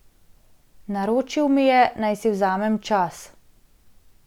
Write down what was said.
Naročil mi je, naj si vzamem čas.